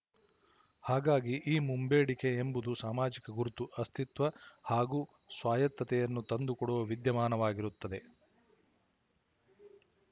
ಹಾಗಾಗಿ ಈ ಮುಂಬೇಡಿಕೆ ಎಂಬುದು ಸಾಮಾಜಿಕ ಗುರುತು ಅಸ್ತಿತ್ವ ಹಾಗೂ ಸ್ವಾಯತ್ತತೆಯನ್ನು ತಂದು ಕೊಡುವ ವಿದ್ಯಮಾನವಾಗಿರುತ್ತದೆ